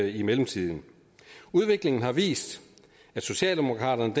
i mellemtiden udviklingen har vist at socialdemokraterne